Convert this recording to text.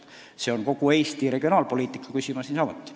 See on kogu Eesti regionaalpoliitika küsimus niisamuti.